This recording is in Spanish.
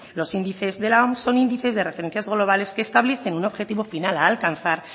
los índices de la oms son índices de referencias globales que establecen un objetivo final a alcanzar